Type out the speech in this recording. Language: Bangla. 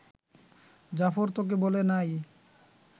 জাফর তোকে বলে নাই